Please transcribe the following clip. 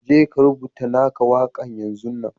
Je ka rubutta na ka waka yanzun nan!